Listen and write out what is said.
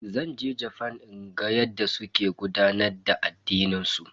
Zan je Jafan in ga yadda suke gudanar da addinin su.